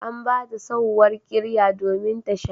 An ba ta sauwar ƙirya domin ta sha.